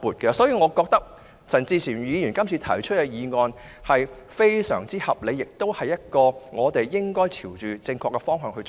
因此，我認為陳志全議員這項議案非常合理，而且我們應該朝這正確方向前行。